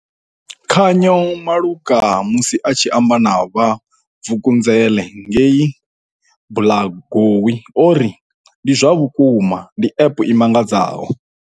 Khanyo Malunga, musi a tshi amba na vha Vukunzele ngei Blairgowie o ri, ndi zwa vhukuma ndi App i mangadzaho.